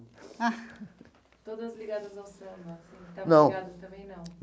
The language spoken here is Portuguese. Todas ligadas ao samba assim então? Não. Também não.